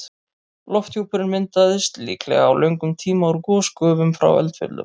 Lofthjúpurinn myndaðist líklega á löngum tíma úr gosgufum frá eldfjöllum.